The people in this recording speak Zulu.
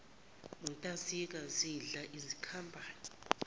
nontazinga zidla izikhambane